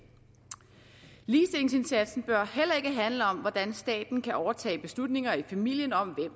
ligestillingsindsatsen bør heller ikke handle om hvordan staten kan overtage beslutninger i familierne om